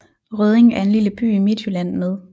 Rødding er en lille by i Midtjylland med